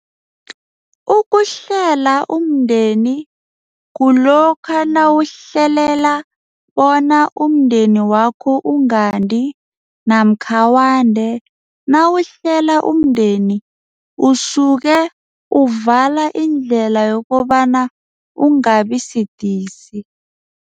Ukuhlela umndeni kulokha nawuhlelela bona umndeni wakho ungandi namakha wande nawuhlela umndeni usuke uvala indlela yokobana ungabisidisi.